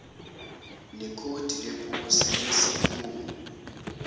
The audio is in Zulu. nekhodi leposi lesikhungu